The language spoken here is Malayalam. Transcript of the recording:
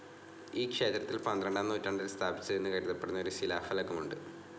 ഈ ക്ഷേത്രത്തിൽ പന്ത്രണ്ടാം നൂറ്റാണ്ടിൽ സ്ഥാപിച്ചതെന്നു കരുതപ്പെടുന്ന ഒരു ശിലാഫലകമുണ്ട്.